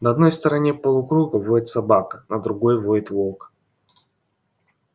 на одной стороне полукруга воет собака на другой воет волк